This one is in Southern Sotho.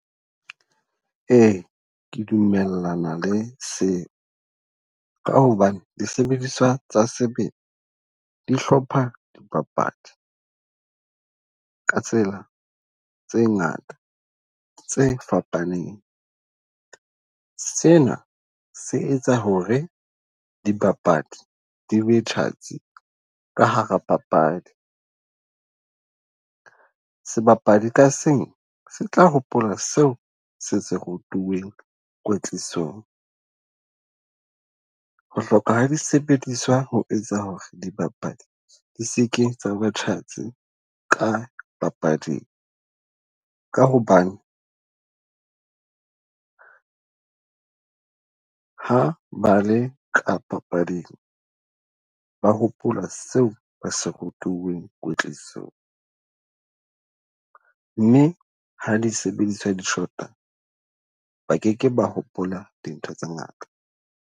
Ee, ke dumellana le se. Ka hobane disebediswa tsa sebele dihlopha dibapadi ka tsela tse ngata tse fapaneng. Sena se etsa hore di bapadi di be tjhatsi ka hara papadi. Sebapadi ka seng se tla hopola seo se se rutiweng kwetlisong. Ho hloka ha di sebediswa ho etsa hore dibapadi di seke tsa ba tjhatsi ka papading. Ka hobane ha ba le ka papading, ba hopola seo ba se rutuweng kwetlisong. Mme ha disebediswa di shota ba keke ba hopola dintho tse ngata.